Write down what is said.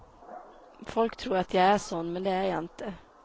Folk tror att jag är sån, men det är jag inte.